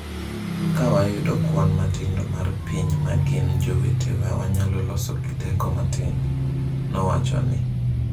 Ka wayudo kwan matindo mar piny ma gin jowetewa wanyalo loso teko matin, nowacho ni.